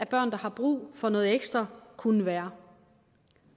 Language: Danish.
børn der har brug for noget ekstra kunne være